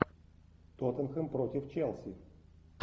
тоттенхэм против челси